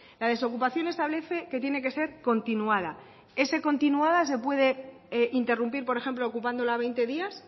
la desocupación establece que tiene que ser continuada ese continuada se puede interrumpir por ejemplo ocupándola veinte días